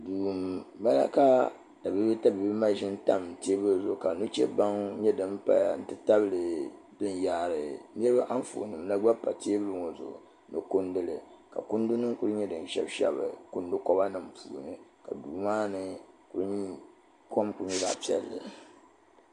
duu n bala ka tabiibu tabiibu maʒini nyɛ din pa teebuli zuɣu ka nuchɛ baŋ nyɛ din paya n ti tabili din yaari niraba Anfooni nim la gba pa teebuli ŋɔ zuɣu ni kunduli ka kundi nim ku nyɛ din shɛbi shɛbi kundi koba nim puuni ka duu maa ni kom ku nyɛ zaɣ piɛlli